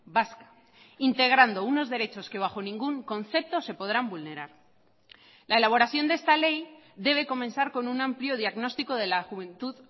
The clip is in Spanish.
vasca integrando unos derechos que bajo ningún concepto se podrán vulnerar la elaboración de esta ley debe comenzar con un amplio diagnóstico de la juventud